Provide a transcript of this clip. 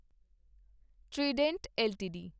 Trident LTD